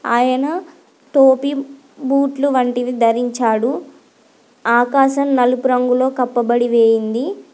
ఆయన టోపీ బూట్లు వంటివి ధరించాడు. ఆకాశం నలుపు రంగు లో కప్పబడి వేయింది.